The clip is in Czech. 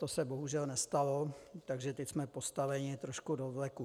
To se bohužel nestalo, takže teď jsme postaveni trošku do vleku.